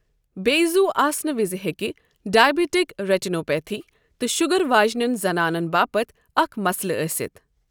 بیٚیہِ زُو آسنہٕ وِزِ ہٮ۪کہِ ڈیابِٹِک ریٹینوپیتھی تہِ شُگر واجنِٮ۪ن زنانن باپتھ اکھ مَسلہٕ ٲسِتھ۔۔